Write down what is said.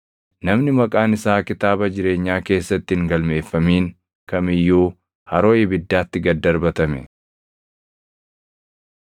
Namni maqaan isaa kitaaba jireenyaa keessatti hin galmeeffamin kam iyyuu haroo ibiddaatti gad darbatame.